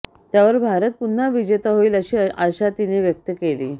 त्यावर भारत पुन्हा विजेता होईल अशी आशा तिने व्यक्त केली